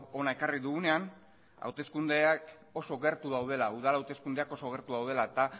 hona ekarri dugunean hauteskundeak oso gertu daudela udal hauteskundeak oso gertu daudela eta